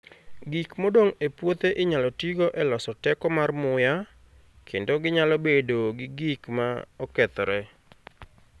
Gik modong' e puothe inyalo tigo e loso teko mar muya, kendo ginyalo bedo gi gik ma okethore.